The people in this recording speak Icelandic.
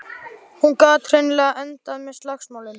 Hún gat hreinlega endað með slagsmálum.